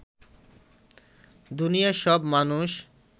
দুনিয়ার সব মানুষ